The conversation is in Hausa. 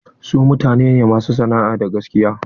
Su mutane ne masu sana'a da gaskiya.